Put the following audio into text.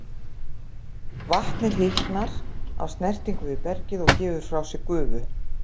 Vatnið hitnar af snertingu við bergið og gefur frá sér gufu.